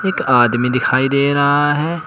आदमी दिखाई दे रहा है।